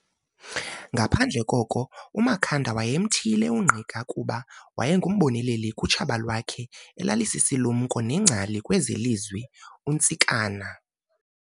Ngaphandle koko, uMakhanda wayemthiyile uNgqika kuba wayengumboneleli kutshaba lwakhe elalisisilumko nengcali kwezeLizwi, uNtsikana.